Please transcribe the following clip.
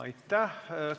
Aitäh!